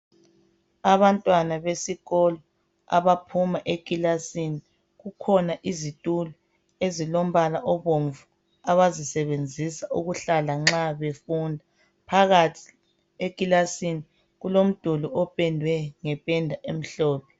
Abantwana besikolo abaphuma ekilasini. Kukhona izitulo ezilombala obomvu abazisebenzisa ukuhlala nxa befunda .Phakathi ekilasini kulomduli opendwe ngependa emhlophe.